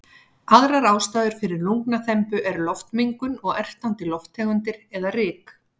Aðrar ástæður fyrir lungnaþembu eru loftmengun og ertandi lofttegundir eða ryk.